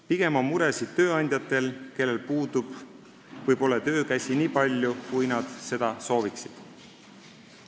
Pigem on muresid tööandjatel, kellel pole töökäsi nii palju, kui nad seda sooviksid.